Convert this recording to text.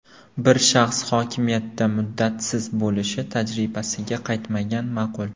Bir shaxs hokimiyatda muddatsiz bo‘lishi tajribasiga qaytmagan ma’qul.